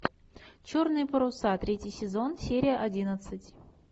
черные паруса третий сезон серия одиннадцать